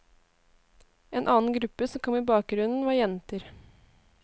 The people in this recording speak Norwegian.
En annen gruppe som kom i bakgrunnen var jenter.